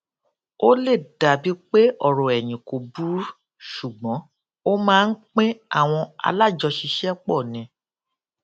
ó lè dàbí pé ọrọ ẹyìn kò burú ṣùgbón ó máa ń pín àwọn alájọṣiṣẹpọ ni